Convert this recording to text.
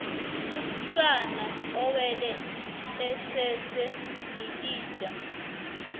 umsana ewele esese lilija